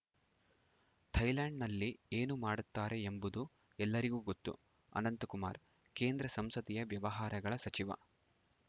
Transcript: ಥೈಲ್ಯಾಂಡ್‌ನಲ್ಲಿ ಏನು ಮಾಡುತ್ತಾರೆ ಎಂಬುದು ಎಲ್ಲರಿಗೂ ಗೊತ್ತು ಅನಂತಕುಮಾರ್‌ ಕೇಂದ್ರ ಸಂಸದೀಯ ವ್ಯವಹಾರಗಳ ಸಚಿವ